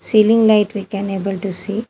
Ceiling light we can able to see.